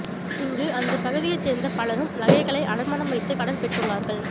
இங்கு அந்த பகுதியைச் சேர்ந்த பலரும் நகைகளை அடமானம் வைத்து கடன் பெற்று உள்ளார்கள்